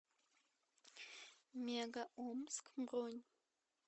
мега омск бронь